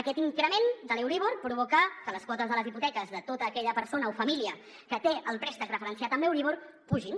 aquest increment de l’euríbor provoca que les quotes de les hipoteques de tota aquella persona o família que té el préstec referenciat en l’euríbor pugin